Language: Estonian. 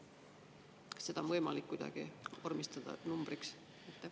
Kas seda on võimalik kuidagi vormistada numbrina?